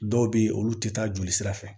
Dɔw bɛ yen olu tɛ taa jolisira fɛ